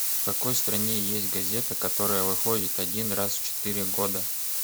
в какой стране есть газета которая выходит один раз в четыре года